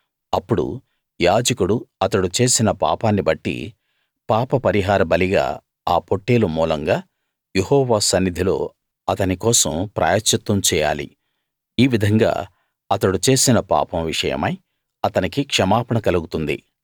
అప్పుడు యాజకుడు అతడు చేసిన పాపాన్నిబట్టి పాప పరిహార బలిగా ఆ పొట్టేలు మూలంగా యెహోవా సన్నిధిలో అతని కోసం ప్రాయశ్చిత్తం చేయాలి ఈ విధంగా అతడు చేసిన పాపం విషయమై అతనికి క్షమాపణ కలుగుతుంది